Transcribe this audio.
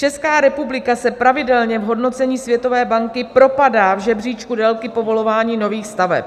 Česká republika se pravidelně v hodnocení Světové banky propadá v žebříčku délky povolování nových staveb.